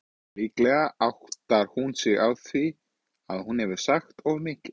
Líklega áttar hún sig á því að hún hefur sagt of mikið.